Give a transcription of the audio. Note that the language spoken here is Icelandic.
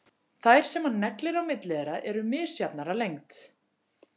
Þær sem hann neglir á milli þeirra eru misjafnar að lengd.